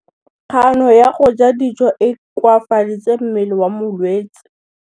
Kganô ya go ja dijo e koafaditse mmele wa molwetse.